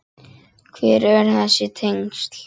Hver eru þessi tengsl?